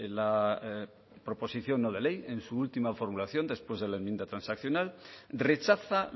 la proposición no de ley en su última formulación después de la enmienda transaccional rechaza